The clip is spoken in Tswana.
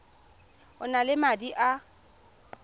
o nang le madi a